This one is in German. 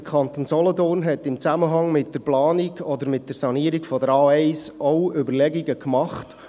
Der Kanton Solothurn hat sich in Zusammenhang mit der Planung oder der Sanierung der A1 auch Überlegungen gemacht.